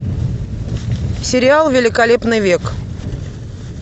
сериал великолепный век